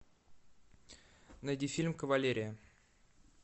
найди фильм кавалерия